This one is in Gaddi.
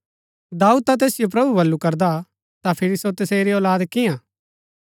दाऊद ता तैसिओ प्रभु बल्लू करदा ता फिरी सो तसेरी औलाद कियां हा